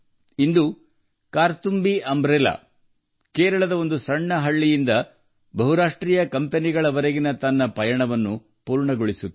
ಇಂದು ಕಾರ್ತುಂಬಿ ಛತ್ರಿಗಳು ಕೇರಳದ ಒಂದು ಸಣ್ಣ ಹಳ್ಳಿಯಿಂದ ಬಹುರಾಷ್ಟ್ರೀಯ ಕಂಪನಿಗಳಿಗೆ ತಮ್ಮ ಪ್ರಯಾಣ ಪೂರ್ಣಗೊಳಿಸಿವೆ